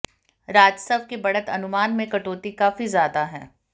राजस्व के बढ़त अनुमान में कटौती काफी ज्यादा है